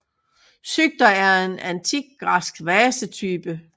Psykter er en antik græsk vasetype